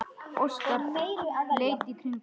Óskar leit í kringum sig.